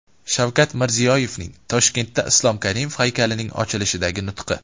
Shavkat Mirziyoyevning Toshkentda Islom Karimov haykalining ochilishidagi nutqi.